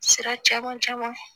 Sira caman caman